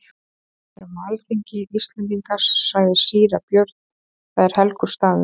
Við erum á alþingi Íslendinga, sagði síra Björn,-það er helgur staður.